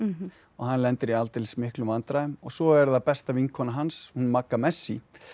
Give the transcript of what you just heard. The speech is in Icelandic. hann lendir í aldeilis miklum vandræðum svo er það besta vinkona hans hún Magga messi